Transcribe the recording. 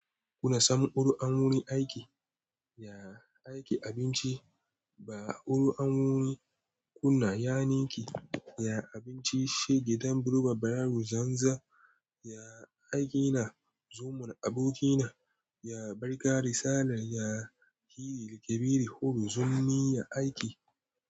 Kuna samun uru a wurin aiki? Ya aiki abinci ba uru a wurin kuna yaniki, ya abinci shi gidan buluba barayi zanza, ya aiki na zumun aboki na, ya barka risala, ya hiri Kebiri Hudu zummi ya aiki.